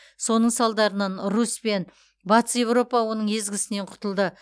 соның салдарынан русь пен батыс еуропа оның езгісінен құтылды